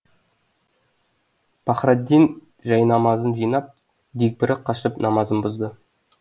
пахраддин жайнамазын жинап дегбірі қашып намазын бұзды